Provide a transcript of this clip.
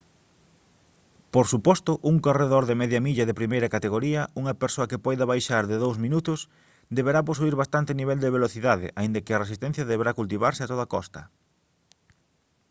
por suposto un corredor de media milla de primeira categoría unha persoa que poida baixar de dous minutos deberá posuír bastante nivel de velocidade aínda que a resistencia deberá cultivarse a toda costa